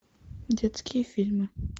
детские фильмы